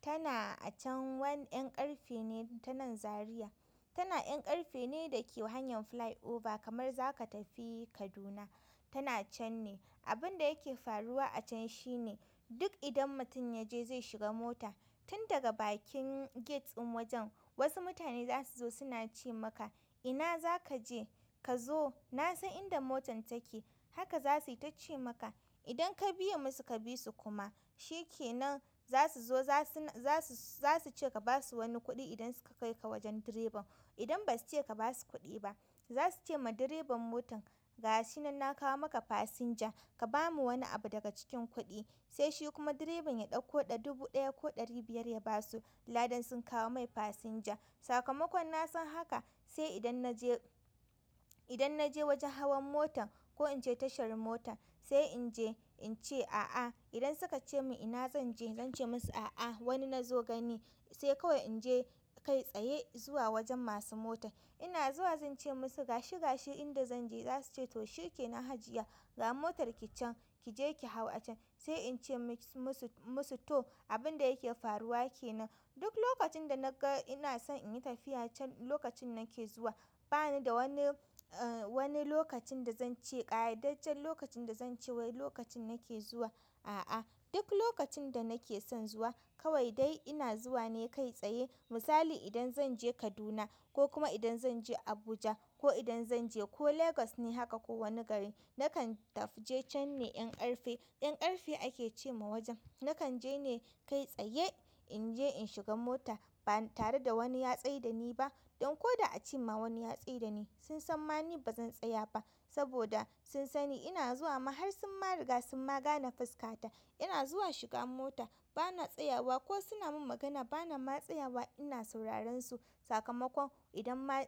tana a can. Wani ƴan ƙarfe ne ta nan Zaria. Tana ƴan ƙarfe ne da ke hanyar flyover kamar zaka tafi Kaduna, tana can ne. Abin da yake faruwa a can shi ne duk idan mutum ya je zai shiga mota tun daga bakin gate ɗin wajen wasu mutane za su zo suna ce maka "ina za ka je? Ka zo na san inda motar take." Haka za su yi ta ce maka. Idan ka biye musu ka bi su kuma shi ke nan za su zo za su, za su, za su ce ka ba su wani kuɗi idan suka kai ka wajen direban. Idan basuce kabasu kuɗi ba zasuve ma direban motan gashinan na kawo maka passenger kabamu wani abu daga cikin kuɗi sai shi kuma direban ya ɗauko ɗa dubu ɗaya ko ɗari biyar ya ba su. Ladan sun kawo mai fasinja. Sakamakon na san haka sai idan na je, idan na je wajen hawan motar ko in je tashar mota sai in je in ce a'a. Idan sukace min ina zanje zance musu a'a wani nazo gani sai kawai in je kai tsaye zuwa wajen masu mota. Ina zuwa zan ce musu gashi gashi inda zan je. Za su ce to shi ke nan hajiya, ga motar ki can kije ki hau a can. Sai in ce musu, musu to. Abin da yake faruwa ke nan duk lokacin da na ga ina son in yi tafiya can lokacin nake zuwa. Banida wani lokacin dazance ƙa idajjen lokacin da zance wai lokacin nake zuwa duk lokacin da nake son zuwa kawai dai ina zuwa ne kai tsaye. Misali idan zan je Kaduna ko kuma idan zan je Abuja ko idan zan je ko Legas ne haka ko wani gari nakan tafi je can ne ƴan ƙarfe. Ƴan ƙarfe ake ce ma wajen. Nakan je ne kai tsaye in je in shiga mota ba tare da wani ya tsai da ni ba. Don ko da a ce ma wani ya tsai da ni sun san mani ba zan tsaya ba. Saboda sun sani ina zuwa ma har sun ma riga sun ma gane fuska ta. Ina zuwa shiga mota bana tsayawa ko suna min magana bana ma tsayawa ina sauraren su. Sakamakon idan ma--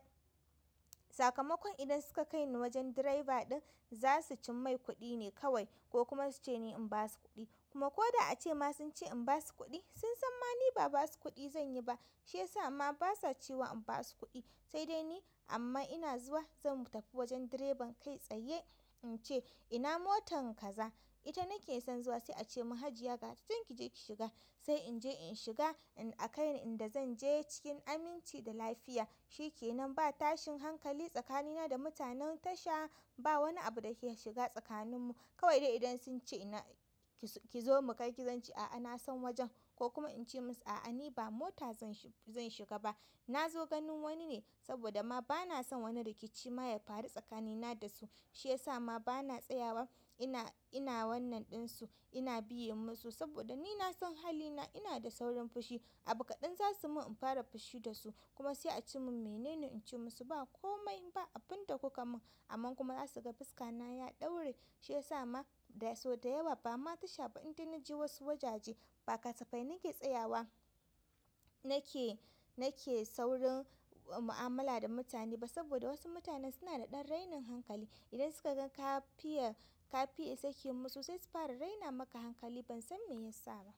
sakamakon idan suka kai ni wajen direba ɗin za su cin mai kuɗi ne kawai ko kuma su ce ni in ba su kuɗi. Kuma ko da a ce ma sun ce in ba su kuɗi sun san mani ba ba su kuɗi zan yi ba. Shi ya sa ma ba sa ce wa in ba su kuɗi sai dai ni amma ina zuwa zan tafi wajen direban kai tsaye in ce ina motar kaza. Ita nake son zuwa sai ace min hajiya gata can kije ki shiga. Sai inje in shiga a kai ni inda zan je cikin aminci da lafiya. Shi ke nan ba tashin hankali tsakanina da mutanen tasha. Ba wani abu da ke shiga tsakanin mu. Kawai dai idan sun ce ina ki zo mu kai ki, zan ce a'a na san wajen ko kuma in ce musu a'a ni ba mota zan shiga ba. Na zo ganin wanine saboda ma bana son wani rikici ma ya faru tsakanina da su. Shi ya sa ma bana tsayawa. Ina, ina wannan ɗin su ina biye musu saboda ni na san halina. Ina da saurin fushi. Abu kaɗan za su min in fara fushi da su. Kuma sai ace min mene ne in ce musu ba komai ba abin da kuka mun. Amman kuma za su ga fuska na ya ɗaure. Shi ya sa ma da, sau da yawa ba ma tasha ba idan na je wasu wajaje ba kasafai nake tsayawa nake, nake saurin mu'amala da mutane ba saboda wasu mutane suna da ɗan rainin hankali. Idan suka gan kafiya, kafiya sake musu sai su fara raina maka hankali ban san meyasa ba.